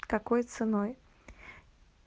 какой ценой